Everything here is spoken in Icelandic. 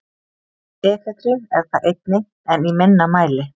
Efedrín er það einnig en í minna mæli.